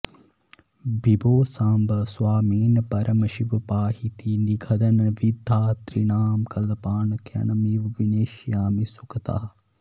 विभो साम्ब स्वामिन् परमशिव पाहीति निगदन् विधातॄणां कल्पान् क्षणमिव विनेष्यामि सुखतः